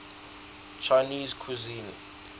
chinese cuisine